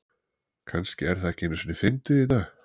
kannski er það ekki einu sinni fyndið í dag